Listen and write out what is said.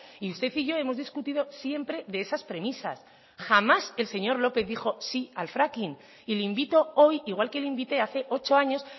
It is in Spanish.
y usted y yo hemos discutido siempre de esas premisas jamás el señor lópez dijo sí al fracking y le invito hoy igual que le invité hace ocho años